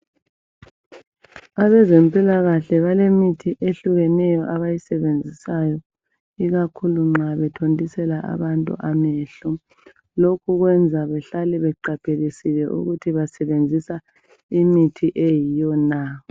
Abezempilakahle balemithi ehlukeneyo abayisebenzisayo ikhakhulu nxa bethontisela abantu amehlo. Lokho kwenza behlale beqaphelisile ukuthi basebenzisa imithi eyiyo na.